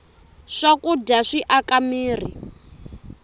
swakudya swi aka mirhi